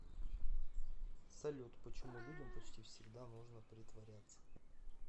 салют почему людям почти всегда нужно притворяться